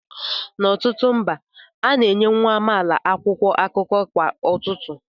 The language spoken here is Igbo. N'ọtụtụ mba, a na-enye nwa amaala akwụkwọ akụkọ kwa ụtụtụ